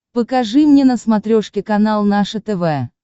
покажи мне на смотрешке канал наше тв